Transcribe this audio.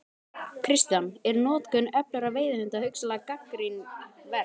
Kristján: Er notkun öflugra veiðihunda hugsanlega gagnrýni verð?